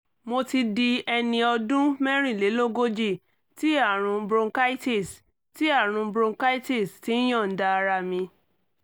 mo ti di ẹni ọdún mẹ́rìnlélógójì tí àrùn bronchitis tí àrùn bronchitis ti ń yọ̀ǹda ara mi